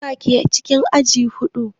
Su wa ke cikin aji huɗu?